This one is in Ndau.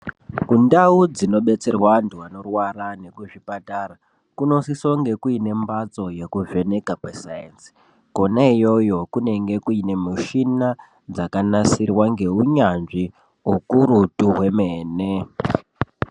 Ku ndau dzino betserwa antu anorwara neku zvipatara kuno sise kunge kuine mbatso yeku vheneka kwe sainzi kona iyoyo kunenge kuine mushina dzaka nasirwa nge unyanzvi ukurutu hwemene.